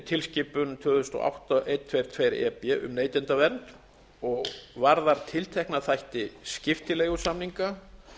átta hundrað tuttugu og tvö e b um neytendavernd og varðar tiltekna þætti skiptileigusamninga